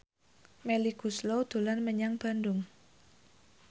Melly Goeslaw dolan menyang Bandung